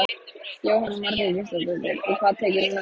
Jóhanna Margrét Gísladóttir: Og hvað tekur núna við?